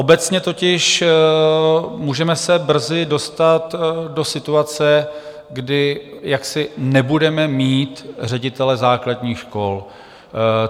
Obecně totiž můžeme se brzy dostat do situace, kdy jaksi nebudeme mít ředitele základních škol.